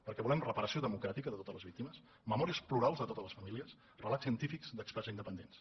perquè volem reparació democràtica de totes les víctimes memòries plurals de totes les famílies relats científics d’experts independents